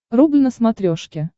рубль на смотрешке